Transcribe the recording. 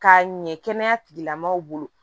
K'a ɲɛ kɛnɛya tigilamɔgɔw bolo